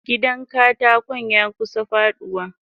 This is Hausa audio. Gidan katakon yakusa faduwa.